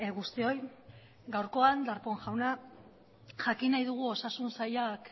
guztioi gaurkoan darpón jauna jakin nahi dugu osasun sailak